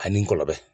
Ani n kɔlɔbɛ